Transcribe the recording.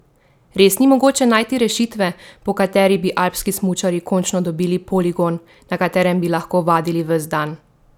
Res ni mogoče najti rešitve, po kateri bi alpski smučarji končno dobili poligon, na katerem bi lahko vadili ves dan?